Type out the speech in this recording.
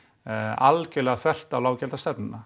algjörlega þvert á